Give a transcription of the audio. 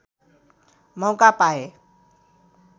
मौका पाए